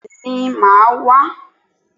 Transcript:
Bẹ́ẹ̀ni, màá wá